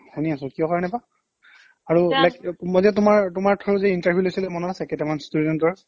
শুনি আছো কিহৰ কাৰণে বা আৰু like কোনবা দিনা তোমাৰ তোমাৰ through যে interview লৈছিলে মনত আছে কেইটামান student ৰ